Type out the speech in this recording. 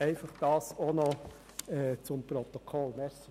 Dies noch zuhanden des Protokolls.